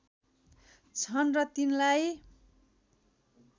छन् र तिनलाई